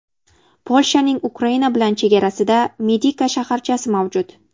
Polshaning Ukraina bilan chegarasida Medika shaharchasi mavjud.